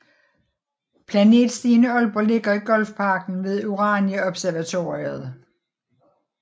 Planetstien i Aalborg ligger i Golfparken ved Urania Observatoriet